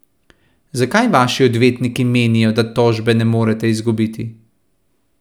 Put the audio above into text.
Zakaj vaši odvetniki menijo, da tožbe ne morete izgubiti?